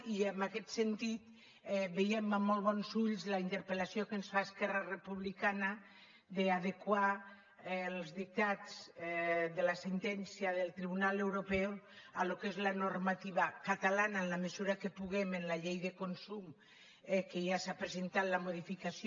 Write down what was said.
i en aquest sentit veiem amb molt bons ulls la interpellació que ens fa esquerra republicana d’adequar els dictats de la sentència del tribunal europeu al que és la normativa catalana en la mesura que puguem a la llei de consum que ja se n’ha presentat la modificació